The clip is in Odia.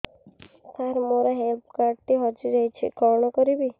ସାର ମୋର ହେଲ୍ଥ କାର୍ଡ ଟି ହଜି ଯାଇଛି କଣ କରିବି